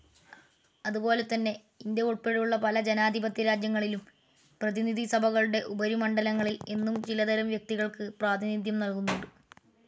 അതുപോലെതന്നെ ഇന്ത്യ ഉൾപ്പടെയുള്ള പല ജനാധിപത്യരാജ്യങ്ങളിലും പ്രതിനിധിസഭകളുടെ ഉപരിമണ്ഡലങ്ങളിൽ എന്നും ചിലതരം വ്യക്തികൾക്ക് പ്രാതിനിധ്യം നൽകുന്നുണ്ട്.